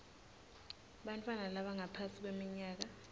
bantfwana labangaphansi kweminyaka